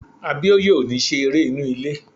Abíóyè ò ní ṣe eré inú ilé